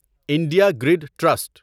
India grid trust